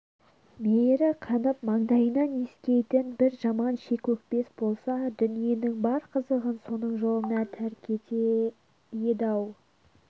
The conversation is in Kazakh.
мейірі қанып маңдайынан иіскейтін бір жаман шикөкпес болса дүниенің бар қызығын соның жолына тәрк етер еді-ау